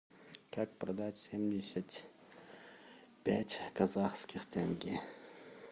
как продать семьдесят пять казахских тенге